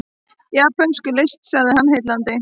Japönsk list sagði hann, heillandi.